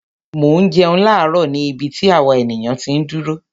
Mò ń jẹun láàárò ni ibi tí àwa ènìyàn ti ń dúró.